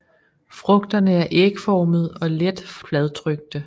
Frugterne er ægformede og let fladtrykte